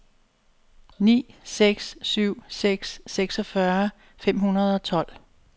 ni seks syv seks seksogfyrre fem hundrede og tolv